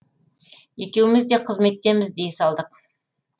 екеуміз де қызметтеміз дей салдық